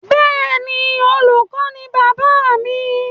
Bẹ́ẹ̀ni, Olùkọ ni bàbáà mi.